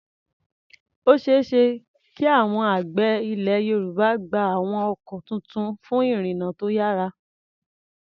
Ó ṣeé ṣe kí àwọn àgbẹ̀ Ilẹ̀ Yorùbá gba àwọn ọkọ̀ tuntun fún ìrìnnà tó yára.